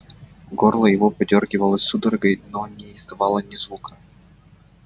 горло его подёргивалось судорогой но не издавало ни звука